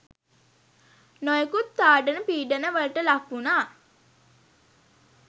නොයෙකුත් තාඩන පීඩනවලට ලක්වුණා.